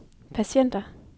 patienter